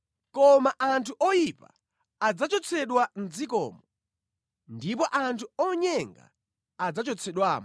Koma anthu oyipa adzachotsedwa mʼdzikomo, ndipo anthu onyenga adzachotsedwamo.